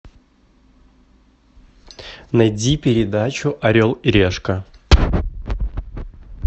найди передачу орел и решка